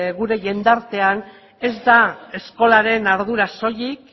gure jendartean ez da eskolaren ardura soilik